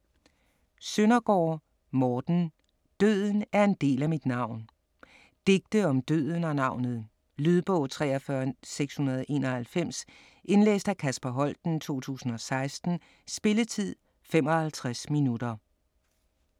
Søndergaard, Morten: Døden er en del af mit navn Digte om døden og navnet. Lydbog 43691 Indlæst af Kasper Holten, 2016. Spilletid: 0 timer, 55 minutter.